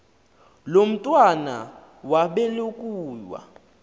lo mntwana wabelekua